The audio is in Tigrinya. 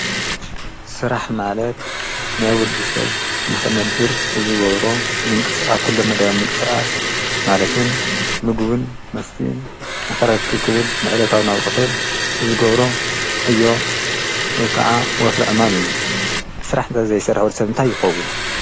ሥራሕ ማለት ነይውዲ ሰብ ንኽነብር እዝጐብሮ ምንቂ ሥቓስ ኲሎ መዳዊ ምንቀሰቓስ ማለትውን ምግብን መስቲን ንኽረክ ኽብል ንዕደታው ናውር ኽብል ዝጐብሮ ዮ ከዓ ወፍል ዕማም እዩ ሥራሕ እንተ ዘይሠራወል ሰብንታ ኣይኮቡን።